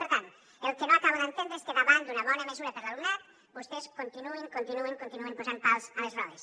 per tant el que no acabo d’entendre és que davant d’una bona mesura per a l’alumnat vostès continuïn continuïn continuïn posant pals a les rodes